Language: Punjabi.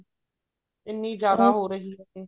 ਇੰਨੀ ਜਿਆਦਾ ਹੋ ਰਹੀ ਹੈ